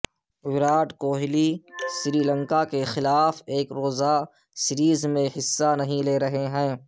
وراٹ کوہلی سری لنکا کے خلاف ایک روزہ سیریز میں حصہ نہیں لے رہے